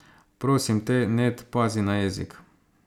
Prosim te, Ned, pazi na jezik.